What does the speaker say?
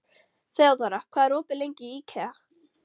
Þeódóra, hvað er opið lengi í IKEA?